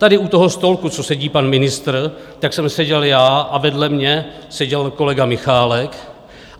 Tady u toho stolku, co sedí pan ministr, tak jsem seděl já a vedle mě seděl kolega Michálek.